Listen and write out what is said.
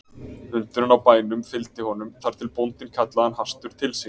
Hundurinn á bænum fylgdi honum þar til bóndinn kallaði hann hastur til sín.